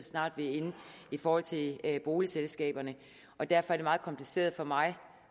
snart vi er inde i forhold til boligselskaberne og derfor er det meget kompliceret for mig